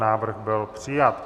Návrh byl přijat.